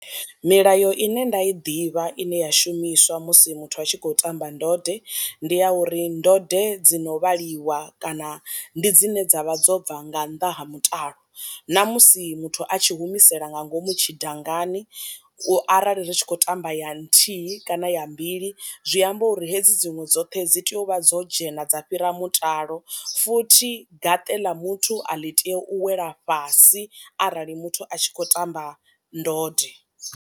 Milayo ine nda i ḓivha ine ya shumiswa musi muthu a tshi khou tamba ndode ndi ya uri ndode dzi no vhaliwa kana ndi dzine dzavha dzo bva nga nnḓa ha mutalo, namusi muthu a tshi humisela nga ngomu tshi dangani arali ri tshi khou tamba ya nthihi kana ya mbili zwi amba uri hedzi dziṅwe dzoṱhe dzi tea u vha dzo dzhena dza fhira mutalo, futhi gaṱe ḽa muthu a ḽi tei u wela fhasi arali muthu a tshi khou tamba ndode.